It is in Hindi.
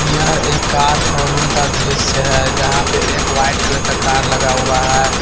यह एक कार शोरूम का दृश्य है जहां पे एक वाइट कलर का कार हुआ है।